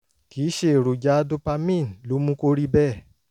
kì í ṣe èròjà dopamine ló mú kó rí bẹ́ẹ̀